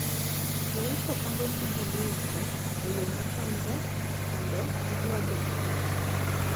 Jouso pango gigo magiuso e yo mochanore mondo giywa jonyiewo mang`eny.